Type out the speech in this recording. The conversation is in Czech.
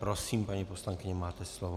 Prosím, paní poslankyně, máte slovo.